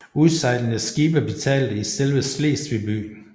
Udsejlende skibe betalte i selve Slesvig by